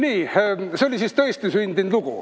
Ah et see oli siis tõestisündinud lugu?